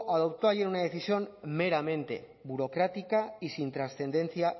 adoptó una decisión meramente burocrática y sin trascendencia